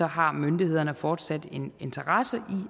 har myndighederne fortsat en interesse